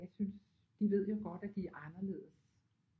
Jeg synes de ved jo godt at de er anderledes